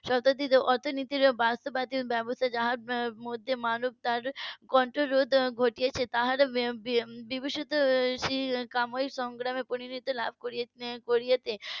. অর্থনীতির বাস্তবায়িত ব্যবস্থা যার মধ্যে মানব তার কণ্ঠরোধ ঘটিয়েছে তার বিভূষিত সাময়িক সংগ্রামে পরিণতি লাভ করেছে